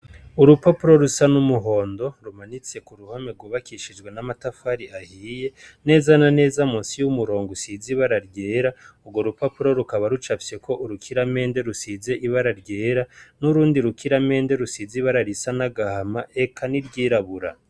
Urupapuro rusa n'umuhondo rumanitse ku ruhame gubakishijwe n'amatafari ahiye neza naneza musi y'umurongo usize ibara ryera urwo rupapuro rukaba rucafyeko urukiramende rusize ibara ryera n'urundi rukiramende rusize ibara risa n'agahama eka n'iryirabura.